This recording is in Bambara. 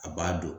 A b'a dɔn